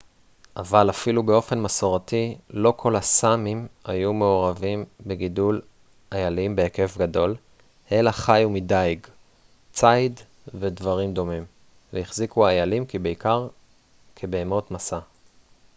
אבל אפילו באופן מסורתי לא כל הסאמים היו מעורבים בגידול איילים בהיקף גדול אלא חיו מדיג ציד ודברים דומים והחזיקו איילים בעיקר כבהמות משא